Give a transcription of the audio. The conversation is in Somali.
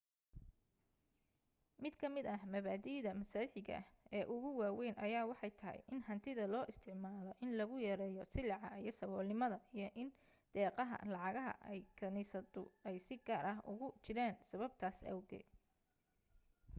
mid ka mid ah maba'diida masiixiga ah ee ugu waaweyn ayaa waxay tahay in hantida loo isticmaalo in lagu yareeyo silica iyo saboolnimada iyo in deeaqaha lacagaha ay kaniisaddu ay si gaar ah ugu jiraan sababtaas awgeed